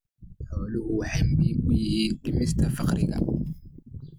Xooluhu waxay muhiim u yihiin dhimista faqriga.